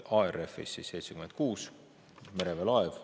ARF-is on 76 kaitseväelast ja mereväe laev.